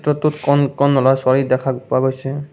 দৃশ্যটোত কণ-কণ ল'ৰা-ছোৱালী দেখা পোৱা গৈছে।